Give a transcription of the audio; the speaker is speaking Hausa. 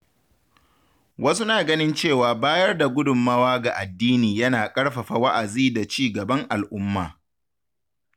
Wasu na ganin cewa bayar da gudunmawa ga addini yana ƙarfafa wa’azi da ci gaban al’umma.